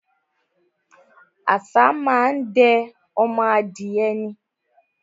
Àṣá má á ń de ọdẹ ọmọ adìẹ ni.